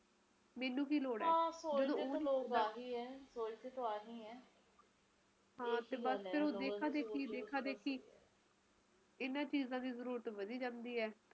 ਹਾਂ ਨੀ ਓਦੋ ਤੋਂ ਲਊਗੀ ਓਦੋ ਓਦੋ ਤੋਂ ਲਊਗੀ ਓਦੋ ਲਊਗੀ ਛੁੱਟੀਆਂ ਜਦੋ ਮੈਂ